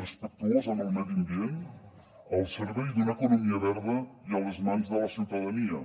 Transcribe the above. respectuosa amb el medi ambient al servei d’una economia verda i a les mans de la ciutadania